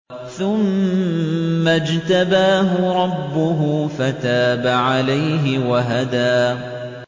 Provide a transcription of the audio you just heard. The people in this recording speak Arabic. ثُمَّ اجْتَبَاهُ رَبُّهُ فَتَابَ عَلَيْهِ وَهَدَىٰ